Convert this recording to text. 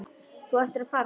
Þú ættir að fara núna.